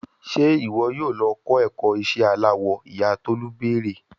Ṣe iwọ yoo lọ kọ ẹkọ iṣẹ alawọ, iya Tolu beere